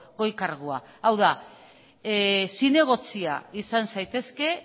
goi kargua hau da zinegotzia izan zaitezke